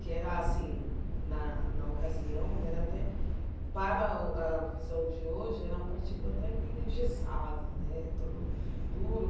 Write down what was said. que era assim, na na ocasião era até, para para a visão de hoje, era um partido até meio engessado né, todo duro.